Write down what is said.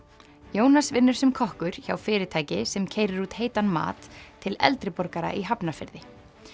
Jónas vinnur sem kokkur hjá fyrirtæki sem keyrir út heitan mat til eldri borgara í Hafnarfirði